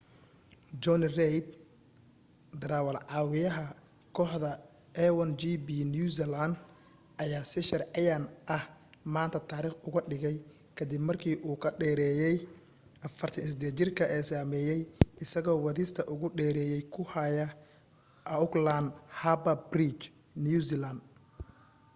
jonny reid darawaal-caawiyaha kooxda a1gp new zealand ayaa si sharciyan ah maanta taariikh uga dhigay ka dib markii u ka dheereeyay 48-jirka ee sameeyay isagoo wadista ugu dheereeya ku haya auckland harbour bridge new zealand